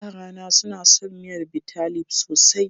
Yarana suna son miyar Bitalib sosai.